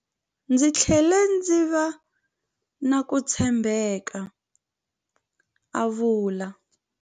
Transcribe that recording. Ndzi tlhele ndzi va na ku tshembeka, a vula.